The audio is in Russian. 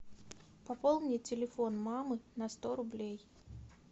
пополни телефон мамы на сто рублей